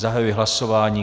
Zahajuji hlasování.